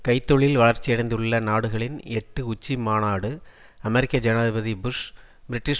கை தொழில் வளர்ச்சியடைந்துள்ள நாடுகளின் எட்டு உச்சிமாநாடு அமெரிக்க ஜனாதிபதி புஷ் பிரிட்டிஷ்